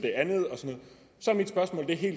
det her